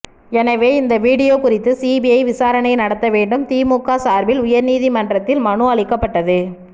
எனவே இந்த வீடியோ குறித்து சிபிஐ விசாரணை நடத்த வேண்டும் திமுக சார்பில் உயர்நீதிமன்றத்தில் மனு அளிக்கபட்டது